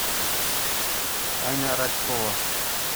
аня радкова